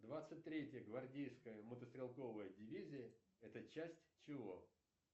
двадцать третья гвардейская мотострелковая дивизия это часть чего